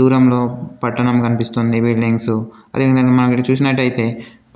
దూరంలో పట్టణం కనిపిస్తుంది బిల్డింగ్సు . అదే విధంగా మనం ఇక్కడ చూసినట్టయితే